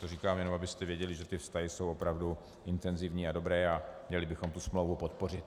To říkám, jen abyste věděli, že ty vztahy jsou opravdu intenzivní a dobré a měli bychom tu smlouvu podpořit.